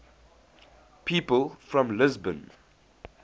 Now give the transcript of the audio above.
people from lisbon